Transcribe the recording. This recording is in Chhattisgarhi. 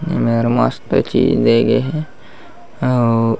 एमेर मस्त चीज दे गे हे अऊ--